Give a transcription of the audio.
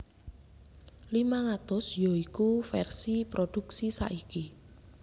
limang atus ya iku vèrsi prodhuksi saiki